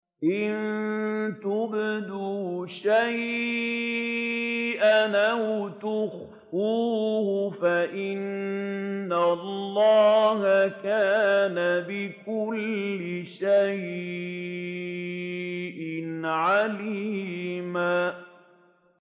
إِن تُبْدُوا شَيْئًا أَوْ تُخْفُوهُ فَإِنَّ اللَّهَ كَانَ بِكُلِّ شَيْءٍ عَلِيمًا